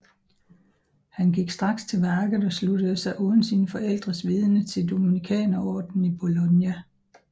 Han gik straks til værket og sluttede sig uden sine forældres vidende til dominikanerordenen i Bologna